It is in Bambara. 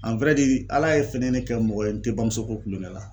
a wɛrɛ diri ala fɛnɛ ye ne kɛ mɔgɔ ye n te bamusoko kulonkɛ la